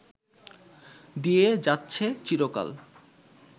দিয়ে যাচ্ছে চিরকাল